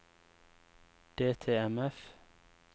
DTMF